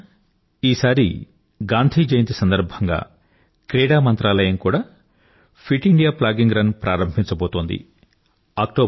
మిత్రులారా ఈసారి గాంధీ జయంతి సందర్భంగా క్రీడా మంత్రాలయం కూడా ఫిట్ ఇండియా ప్లాగింగ్ రన్ ప్రారంభించబోతోంది